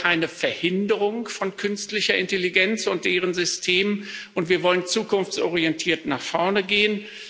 Wir wollen keine Verhinderung von künstlicher Intelligenz und deren System, und wir wollen zukunftsorientiert nach vorne gehen.